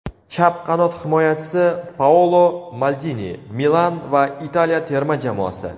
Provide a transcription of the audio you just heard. chap qanot himoyachisi Paolo Maldini ("Milan" va Italiya terma jamoasi);.